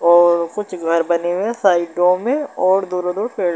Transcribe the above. और कुछ घर बने हुए है साइडों में और दोनों दो --